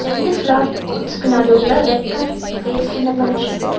இந்த ஃபிளார் பாட்ஸ்க்கு நடுல ரெட் கார்பெட் ப்ளேஸ் பண்ண பட்ருக்கு.